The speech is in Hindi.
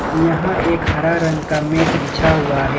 यहां एक हरा रंग का मैट बिछा हुआ है।